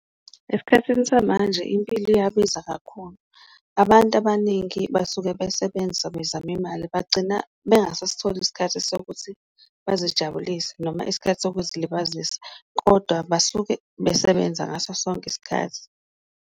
Esikhathini samanje impilo iyabiza kakhulu abantu abaningi basuke besebenza bezama imali, bagcina bangasasitholi isikhathi sokuthi bazijabulise noma isikhathi zokuzilibazisa, kodwa basuke besebenza ngaso sonke isikhathi.